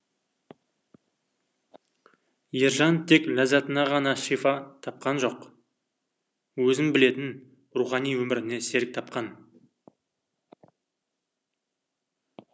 ержан тек ләззатына ғана шифа тапқан жоқ өзін білетін рухани өміріне серік тапқан